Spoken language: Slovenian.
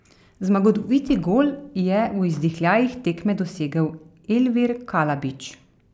Zmagoviti gol je v izdihljajih tekme dosegel Elvir Kalabić.